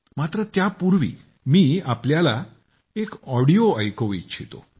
मात्र त्यापूर्वी मी तुम्हाला एक ऑडिओ ऐकवू इच्छितो